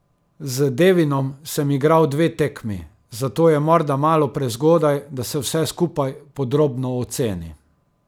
Z Devinom sem igral dve tekmi, zato je morda malo prezgodaj, da se vse skupaj podrobno oceni.